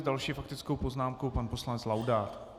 S další faktickou poznámkou pan poslanec Laudát.